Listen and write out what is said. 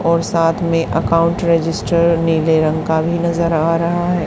और साथ में अकाउंट रजिस्टर नीले रंग का भी नजर आ रहा है।